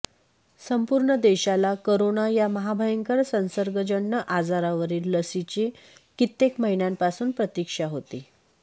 संपूर्ण देशाला करोना या महाभयंकर संसर्गजन्य आजारावरील लसीची कित्येक महिन्यांपासून प्रतीक्षा होती